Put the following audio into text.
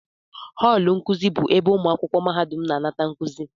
họọlụ nkuzi bụ ebe ụmụ akwụkwọ mahadum na-anata nkuzi